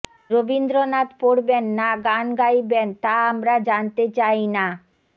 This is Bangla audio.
রবীন্দ্রনাথ পড়বেন না গান গাইবেন তা আমরা জানতে চাই না